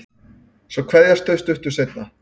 Svo kveðjast þau stuttu seinna.